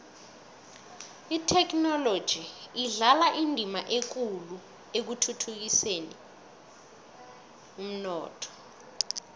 ithekhinoloji idlala indima ekulu ekukhuliseni umnotho